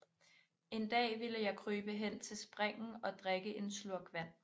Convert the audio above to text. En Dag vilde jeg krybe hen til Springen og drikke en Slurk Vand